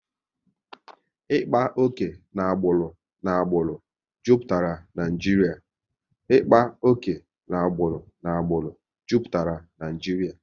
Ịkpa oke na agbụrụ n'agbụrụ jupụtara Naijiria